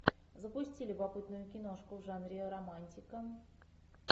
запусти любопытную киношку в жанре романтика